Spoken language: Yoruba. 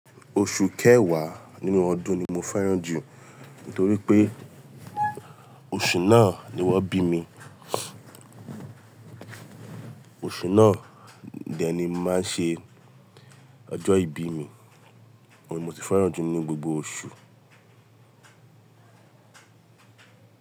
Oṣù kẹwàá nínú ọdún ni mo fẹ́ràn jù nítorí pé oṣù náà ni wọ́n bí mi, oṣù náà dẹ ni mo máa ń ṣe ọjọ́ ìbí mi, òhun ní mo si fẹ́ràn jù nínú gbogbo oṣù.